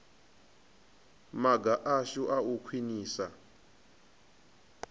maga ashu a u khwinisa